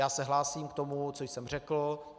Já se hlásím k tomu, co jsem řekl.